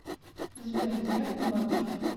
сбер звякни бабушке